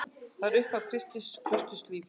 Þetta var upphaf kristins klausturlífs.